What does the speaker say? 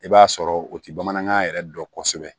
I b'a sɔrɔ o ti bamanankan yɛrɛ dɔn kosɛbɛ